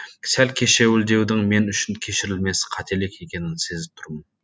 сәл кешеуілдеудің мен үшін кешірілмес қателік екенін сезіп тұрмын